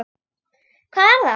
Hvar er það?